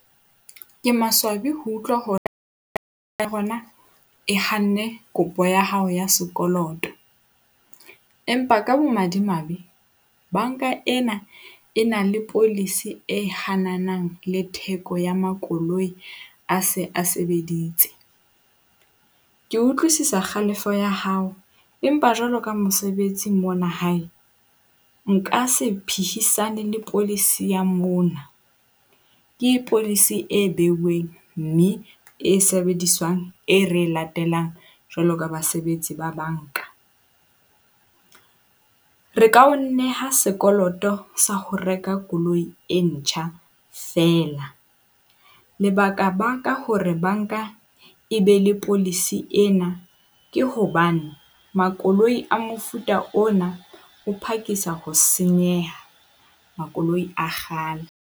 Ke maswabi ho utlwa ya rona e hanne kopo ya hao ya sekoloto, empa ka bomadimabe, banka ena e na le policy e hananang le theko ya makoloi a se a sebeditse. Ke utlwisisa kgalefo ya hao empa jwalo ka mosebetsi mona hae, nka se phihisana le policy ya mona ke policy e behuweng mme e sebediswang e re e latelang jwalo ka basebetsi ba banka. Re ka o neha sekoloto sa ho reka koloi e ntjha feela. Lebaka-baka hore banka e be le policy ena ke hobane makoloi a mofuta ona o phakisa ho senyeha, makoloi a kgale.